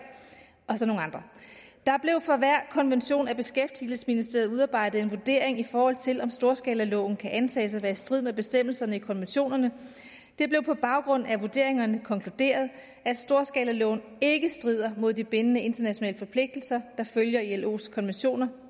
og så nogle andre der blev for hver konvention af beskæftigelsesministeriet udarbejdet en vurdering i forhold til om storskalaloven kan antages at være i strid med bestemmelserne i konventionerne det blev på baggrund af vurderingerne konkluderet at storskalaloven ikke strider mod de bindende internationale forpligtelser der følger ilos konventioner